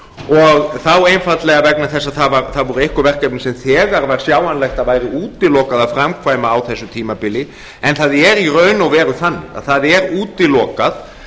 og þá einfaldlega vegna þess að það voru einkum verkefni sem þegar var sjáanlegt að væri útilokað að framkvæma á þessu tímabili en það er í raun og veru þannig að það er útilokað